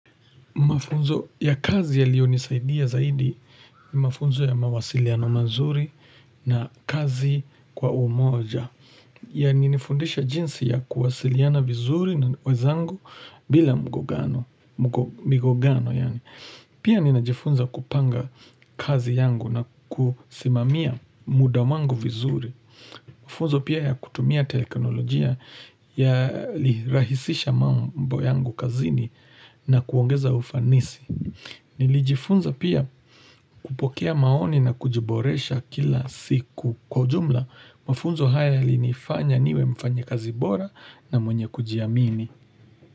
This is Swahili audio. Mafunzo ya kazi yaliyo nisaidia zaidi ni mafunzo ya mawasiliano mazuri na kazi kwa umoja. Yali nifundisha jinsi ya kuwasiliana vizuri na wezangu bila mgongano migongano yaani Pia ninajifunza kupanga kazi yangu na kusimamia muda wangu vizuri. Mafunzo pia ya kutumia teknolojia yali rahisisha mambo yangu kazini na kuongeza ufanisi. Nilijifunza pia kupokea maoni na kujiboresha kila siku kwa ujumla. Mafunzo haya yalinifanya niwe mfanyi kazi bora na mwenye kujiamini.